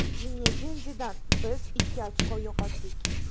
Zinedin Zidan: Biz ikki ochko yo‘qotdik.